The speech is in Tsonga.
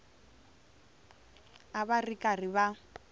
a va ri karhi va